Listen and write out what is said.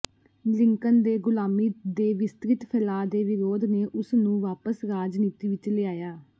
Lincoln ਦੇ ਗ਼ੁਲਾਮੀ ਦੇ ਵਿਸਤ੍ਰਿਤ ਫੈਲਾਅ ਦੇ ਵਿਰੋਧ ਨੇ ਉਸਨੂੰ ਵਾਪਸ ਰਾਜਨੀਤੀ ਵਿੱਚ ਲਿਆਇਆ